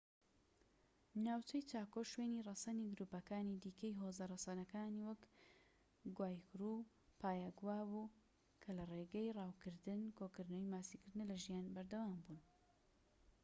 ناوچەی چاکۆ شوێنی ڕەسەنی گرووپەکانی دیکەی هۆزە ڕەسەنەکانی وەک گوایکورو و پایاگوا بوو کە لە ڕێگەی ڕاوکردن کۆکردنەوە ماسیگرتنە لە ژیان بەردەوام بوون